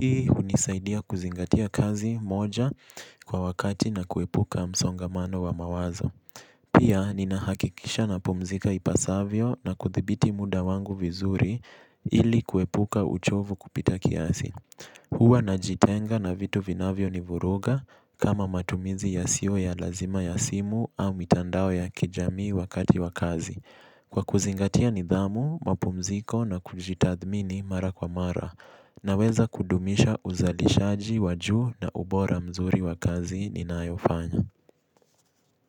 Hii unisaidia kuzingatia kazi moja kwa wakati na kuepuka msongamano wa mawazo. Pia, nina hakikisha napumzika ipasavyo na kuthibiti muda wangu vizuri ili kuepuka uchovu kupita kiasi. Huwa najitenga na vitu vinavyo ni vuruga kama matumizi yasiyo ya lazima ya simu au mitandao ya kijamii wakati wa kazi. Kwa kuzingatia nidhamu, mapumziko na kujitathmini mara kwa mara. Naweza kudumisha uzalishaji wajuu na ubora mzuri wa kazi ni nayofanya.